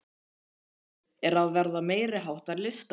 Þessi veggur er að verða meiriháttar listaverk!